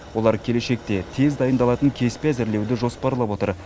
олар келешекте тез дайындалатын кеспе әзірлеуді жоспарлап отыр